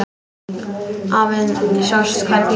Afinn sást hvergi.